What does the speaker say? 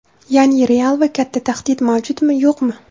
Ya’ni real va katta tahdid mavjudmi, yo‘qmi?